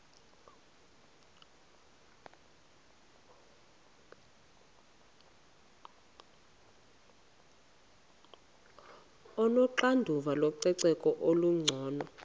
onoxanduva lococeko olungcono